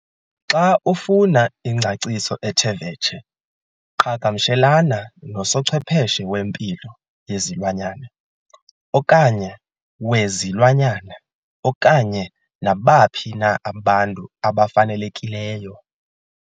Xa ufuna ingcaciso ethe vetshe, qhagamshelana nosochwepheshe wempilo yezilwanyana, okanye wezilwanyana okanye nabaphi na abantu abafanelekileyo.